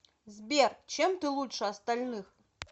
сбер чем ты лучше остальных